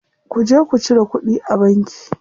Ku je ku cire kuɗi a banki.